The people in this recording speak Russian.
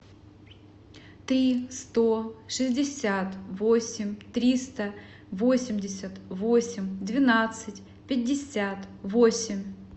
три сто шестьдесят восемь триста восемьдесят восемь двенадцать пятьдесят восемь